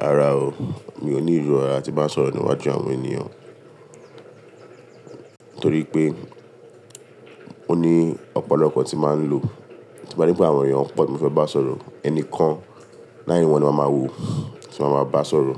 Rárá o. Mi ò ní ìró ara tí n bá sọ̀rọ̀ níwájú àwọn ènìyàn, torí pé oní ọ̀pọ̀lọpọ̀ tí màá ń lò. Tí n bá ri pé àwọn èèyàn pọ̀ tí mo fẹ́ bá sọ̀rọ̀, ẹnìkan láàrin wọn ni màá ma wò, tí màá ma bá sọ̀rọ̀.